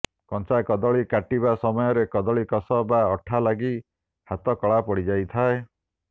କଞ୍ଚା କଦଳୀ କାଟିବା ସମୟରେ କଦଳୀ କଷ ବା ଅଠା ଲାଗି ହାତ କଳା ପଡ଼ିଯାଇଥାଏ